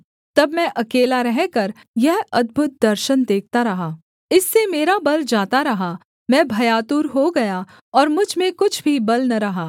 तब मैं अकेला रहकर यह अद्भुत दर्शन देखता रहा इससे मेरा बल जाता रहा मैं भयातुर हो गया और मुझ में कुछ भी बल न रहा